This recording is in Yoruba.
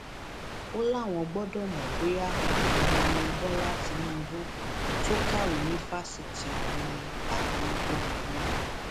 ó láwọn gbọdọ mọ bóyá ọkùnrin ni bọlá tínúbù tó kàwé ní fásitì ọhún ni àbí obìnrin